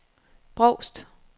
Brovst